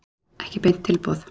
Ekki beint tilboð.